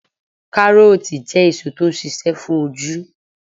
Karooti jẹ́ èso tó ń ṣíṣe fún ojú.